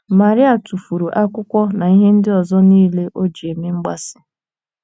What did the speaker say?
Maria tụfuru akwụkwọ na ihe ndị ọzọ niile o ji eme mgbaasị.